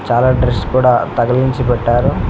చాలా డ్రెస్ కూడా తగిలించి పెట్టారు.